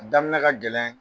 Damin ka gɛlɛn.